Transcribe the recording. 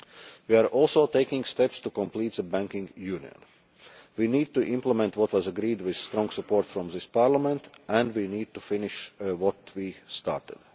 We are also taking steps to complete the banking union. We need to implement what was agreed with strong support from this Parliament, and we need to finish what we have